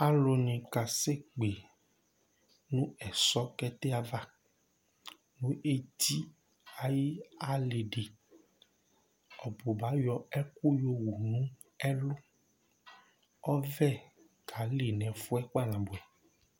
Alʋnɩ kase kpe nʋ ɛsɔkɛtɛ ava nʋ eti ayɩ alɩdɩ Ɔbʋba ayɔ ɛkʋ yowu nʋ ɛlʋ ; ɔvɛ kalɩ n'ɛfʋɛ kpa nabʋɛ